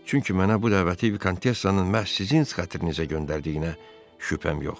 Çünki mənə bu dəvəti Vikontessanın məhz sizin xatrinizə göndərdiyinə şübhəm yoxdur.